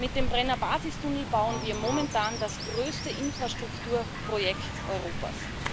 Mit dem Brenner Basistunnel bauen wir momentan das größte Infrastrukturprojekt Europas.